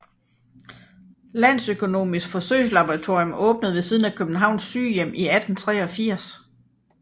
Landøkonomisk Forsøgslaboratorium åbnede ved siden af Københavns Sygehjem i 1883